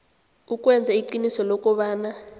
ukwenza iqiniso lokobana